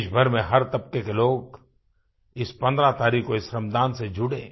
देशभर में हर तबके के लोग इस 15 तारीख़ को इस श्रमदान से जुड़े